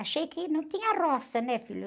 Achei que não tinha roça, né, filho?